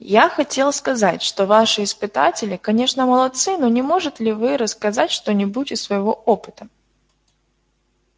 я хотел сказать что ваши испытатели конечно молодцы но не может ли вы рассказать что-нибудь из своего опыта